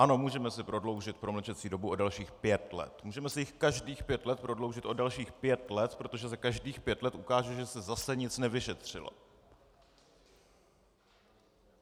Ano, můžeme si prodloužit promlčecí dobu o dalších pět let, můžeme si ji každých pět let prodloužit o dalších pět let, protože se každých pět let ukáže, že se zase nic nevyšetřilo.